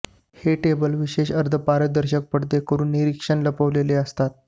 हे टेबल विशेष अर्धपारदर्शक पडदे करून निरीक्षण लपवलेले असतात